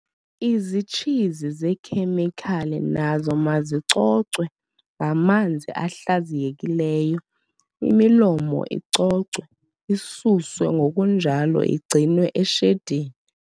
Izitshizi zeekhemikhali nazo mazicocwe ngamanzi ahlaziyekileyo, imilomo icocwe, isuswe ngokunjalo igcinwe eshedini.